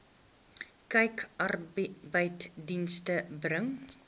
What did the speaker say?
kyk arbeidsdienste bring